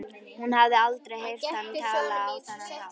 Hún hafði aldrei heyrt hann tala á þennan hátt.